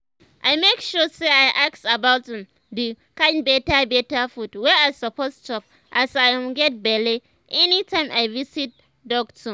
i make sure say i ask about um the um kind better better food wey i suppose chop as i um get belle anytime i visit ah doctor